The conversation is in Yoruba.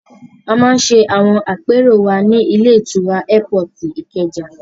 A máa ń ṣe àwọn àpérò wa ní ilé-ìtura Ẹ́pọọ̀tì ní Ìkẹjà.